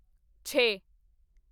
ਛੇ